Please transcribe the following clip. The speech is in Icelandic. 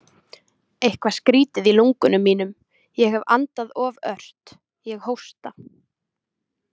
Eitthvað skrýtið í lungunum mínum, ég hef andað of ört, ég hósta.